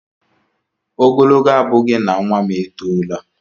Ogologo abughi na nwa m e tola